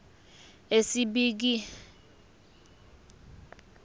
esibekiwe uma kubhekwa